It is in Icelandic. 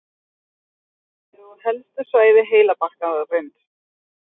hvelaheili og helstu svæði heilabarkarins